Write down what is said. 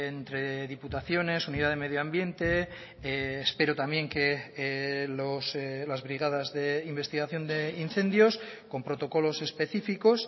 entre diputaciones unidad de medio ambiente espero también que las brigadas de investigación de incendios con protocolos específicos